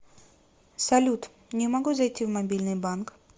салют не могу зайти в мобильный банк